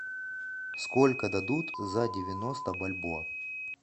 сколько дадут за девяносто бальбоа